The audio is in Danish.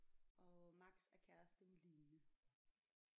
Og Max er kæreste med Line